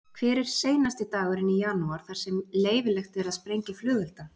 Hver er seinasti dagurinn í janúar þar sem leyfilegt er að sprengja flugelda?